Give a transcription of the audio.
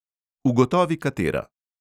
Ugotovi, katera!